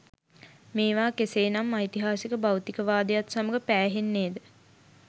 මේවා කෙසේ නම් ඓතිහාසික භෞතිකවාදයත් සමඟ පෑහෙන්නේ ද?